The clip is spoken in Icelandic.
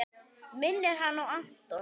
Minnir hana á Anton!